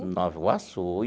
Em Nova Iguaçu.